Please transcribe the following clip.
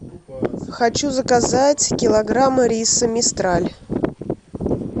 хочу заказать килограмм риса мистраль